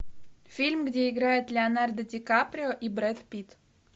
фильм где играет леонардо ди каприо и брэд питт